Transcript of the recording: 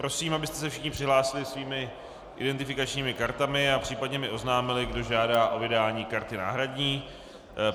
Prosím, abyste se všichni přihlásili svými identifikačními kartami a případně mi oznámili, kdo žádá o vydání karty náhradní.